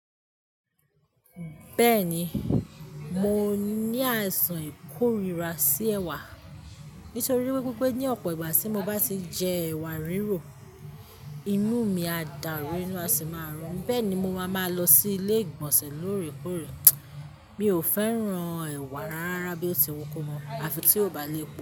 Bẹ́ẹ̀ni, mo ní àìsàn ìkórira sí ẹwà nítorí wípé ní ọ̀pọ̀ ìgbà tí mo bá ti jẹ ẹwà rírò, inú mi á dàrú inú a sì máa rùn mí bẹ́ẹ̀ ni mo máa máa lọ sí ilé ìgbọ̀nsẹ̀ lóòrèkóòrè. Mi ò fẹ́ran ẹwà rárá bí ó ti wù kó mọ́ àfi tí ó bá lépo.